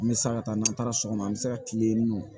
N bɛ sa ka taa n'an taara so kɔnɔ an bɛ se ka kile in nɔ